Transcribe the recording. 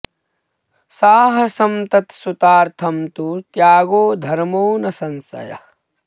साहसं तत् सुतार्थं तु त्यागो धर्मो न संशयः